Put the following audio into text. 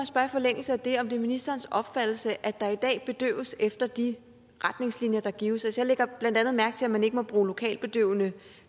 spørge i forlængelse af det om det er ministerens opfattelse at der i dag bedøves efter de retningslinjer der gives jeg lægger blandt andet mærke til at man ikke må bruge lokalbedøvende